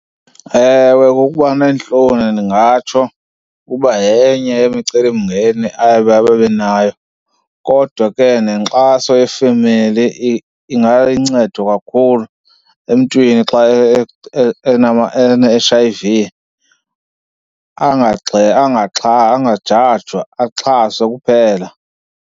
Ewe, kukuba neentloni ndingatsho ukuba yenye yemicelimngeni aye babebenayo kodwa ke nenkxaso yefemeli ingaluncedo kakhulu emntwini xa ene-H_I_V . Angajajwa, axhaswe kuphela.